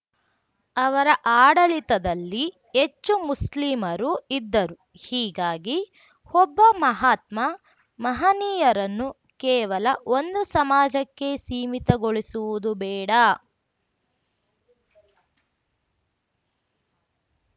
ಅವರ ಆಡಳಿತದಲ್ಲಿ ಹೆಚ್ಚು ಮುಸ್ಲಿಮರು ಇದ್ದರು ಹೀಗಾಗಿ ಒಬ್ಬ ಮಹಾತ್ಮ ಮಹನೀಯರನ್ನು ಕೇವಲ ಒಂದು ಸಮಾಜಕ್ಕೆ ಸೀಮಿತಗೊಳಿಸುವುದು ಬೇಡ